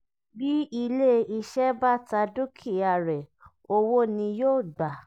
bí ilé iṣẹ́ bá ta dúkìá rẹ̀ owó ni yóò gbà.